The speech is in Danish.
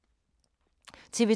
TV 2